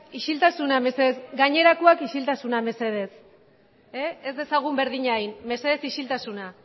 isiltasuna mesedez gainerakoak isiltasuna mesedez ez dezagun berdina egin mesedez isiltasuna